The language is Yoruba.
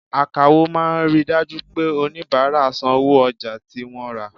Àkáwọ máa ríi dájú pé oníbárà san owó ojà tí wọ́n rà.